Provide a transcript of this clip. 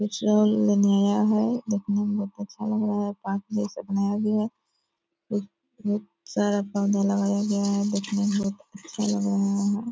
Petrol लेने आया है। देखने में बहुत अच्छा लग रहा है। बाकि ये सब नया भी है। अ ये सारा पौधा लगाया गया है। देखने में बहुत अच्छा लग रहा है।